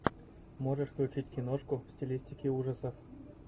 можешь включить киношку в стилистике ужасов